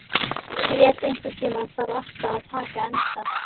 Grét, einhvern tímann þarf allt að taka enda.